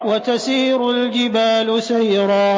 وَتَسِيرُ الْجِبَالُ سَيْرًا